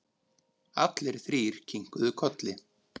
Allir þrír kinkuðu kolli.